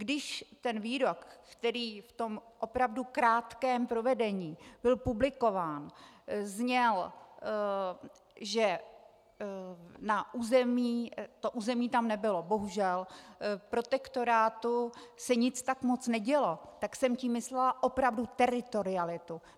Když ten výrok, který v tom opravdu krátkém provedení byl publikován, zněl, že na území - to území tam nebylo, bohužel - protektorátu se nic tak moc nedělo, tak jsem tím myslela opravdu teritorialitu.